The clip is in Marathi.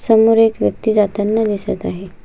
समोर एक व्यक्ति जाताना दिसत आहे.